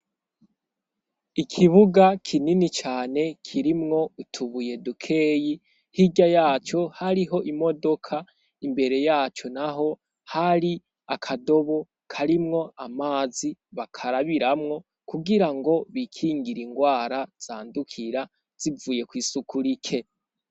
Ikibuga kinini cane kirimwo utubuye dukeyi, hirya yaco hariho imodoka, imbere yaco naho hari akadobo karimwo amazi bakarabiramwo kugirango bikingire ingwara zandukira zivuye kw'isuku rike.